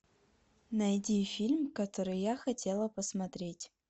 найди фильм который я хотела посмотреть